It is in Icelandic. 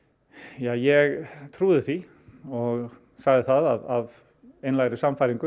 ja ég trúði því og sagði það af einlægri sannfæringu